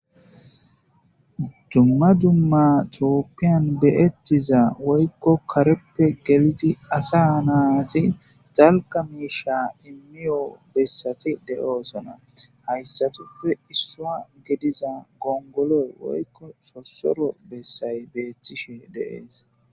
Dumma dumma tooppiyan beyettiza woykko kareppe geliti asa naati xalqa miisha inmiyo bessati de'oosona hayssatuppe issua gediza gongoloy woykko sossoro bessay beeththishe deees.